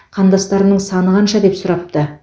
қандастарымның саны қанша деп сұрапты